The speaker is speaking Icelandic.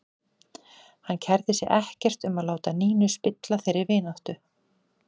Hann kærði sig ekkert um að láta Nínu spilla þeirri vináttu.